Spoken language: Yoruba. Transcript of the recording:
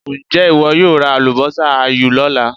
Ǹjẹ́ ìwọ yóò ra àlùbọ́sà áyù lọ́la?